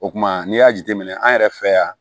O kumana n'i y'a jateminɛ an yɛrɛ fɛ yan